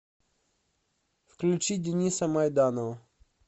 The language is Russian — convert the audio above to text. включи дениса майданова